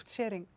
sharing